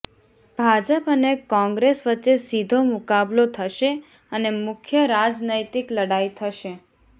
ભાજપ અને કોંગ્રેસ વચ્ચે સીધો મુકાબલો થશે અને મુખ્ય રાજનૈતિક લડાઈ થશે